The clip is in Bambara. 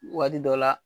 Waati dɔ la